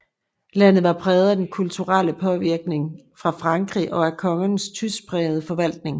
Landet var præget af den kulturelle påvirkning fra Frankrig og af kongernes tyskprægede forvaltning